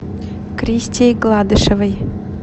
кристей гладышевой